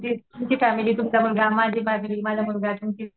तुमची फॅमिली तुमचा मुलगा माझी फॅमिली माझा मुलगा. तुमची